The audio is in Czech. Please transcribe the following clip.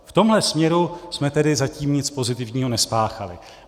V tomhle směru jsme tedy zatím nic pozitivního nespáchali.